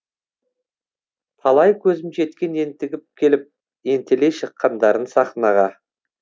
талай көзім жеткен ентігіп келіп ентелей шыққандарын сахнаға